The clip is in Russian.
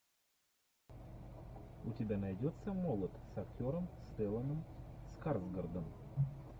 у тебя найдется молот с актером стелланом скарсгардом